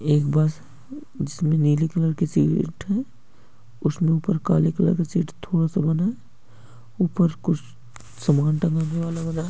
एक बस जिसमे नीले कलर की शीट है उसमे ऊपर काले कलर का शीट थोड़ा सा बना है ऊपर कुछ सामान टंगा हुआ लग रहा हैं।